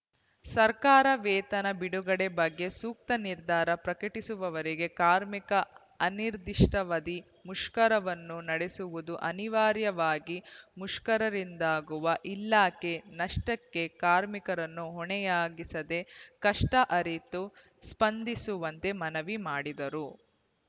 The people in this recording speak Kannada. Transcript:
ಸರ್ಕಾರ ವೇತನ ಬಿಡುಗಡೆ ಬಗ್ಗೆ ಸೂಕ್ತ ನಿರ್ಧಾರ ಪ್ರಕಟಿಸುವವರೆಗೆ ಕಾರ್ಮಿಕರು ಅನಿರ್ಧಿಷ್ಟಾವದಿ ಮುಷ್ಕರವನ್ನು ನಡೆಸುವುದು ಅನಿವಾರ್ಯವಾಗಿದೆ ಮುಷ್ಕರಿಂದಾಗುವ ಇಲಖೆಯ ನಷ್ಟಕ್ಕೆ ಕಾರ್ಮಿಕರನ್ನು ಹೊಣೆಯಾಗಿಸದೆ ಕಷ್ಟಅರಿತು ಸ್ಪಂದಿಸುವಂತೆ ಮನವಿ ಮಾಡಿದರು